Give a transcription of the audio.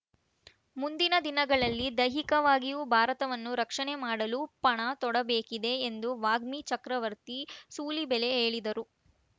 ಮುಂದಿನ ದಿನಗಳಲ್ಲಿ ದೈಹಿಕವಾಗಿಯೂ ಭಾರತವನ್ನು ರಕ್ಷಣೆ ಮಾಡಲು ಪಣ ತೊಡಬೇಕಿದೆ ಎಂದು ವಾಗ್ಮಿ ಚಕ್ರವರ್ತಿ ಸೂಲಿಬೆಲೆ ಹೇಳಿದರು